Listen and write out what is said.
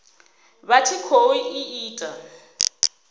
vha tshi khou i ita